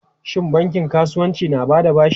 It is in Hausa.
Shin bankin kasuwanci na ba da bashi?